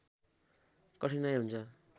कठिनाइ हुन्छ